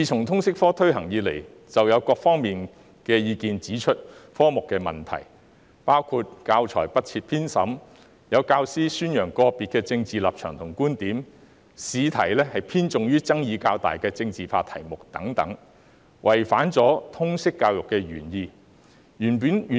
通識科自推行以來，各方意見已指出該科的問題，包括教材不設編審、有教師宣揚個別的政治立場和觀點、試題偏重於爭議較大的政治化題目等，違反通識教育的原意。